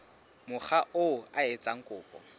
mokga oo a etsang kopo